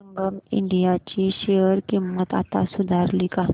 संगम India ची share किंमत आता सुधारली का